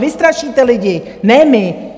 Vy strašíte lidi, ne my.